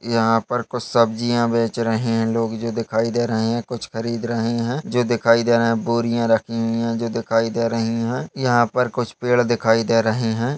यहाँ पर कुछ सब्जिया बेच रहे है लोग जो दिखाई दे रहे है कुछ खरीद रहे है जो दिखाई दे रहे है बोरिया रखी हुई है जो दिखाई दे रहे है यहाँ पर कुछ पेड़ दिखाई दे रहे हैं।